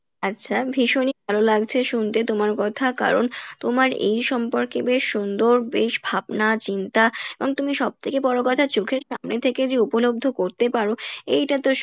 আচ্ছা ভীষণই ভালো লাগছে শুনতে তোমার কথা কারন তোমার এই সম্পর্কে বেশ সুন্দর বেশ ভাবনা চিন্তা এবং তুমি সব থেকে বড় কথা চোখের সামনে থেকে যে উপলব্ধ করতে পারো, এইটা তো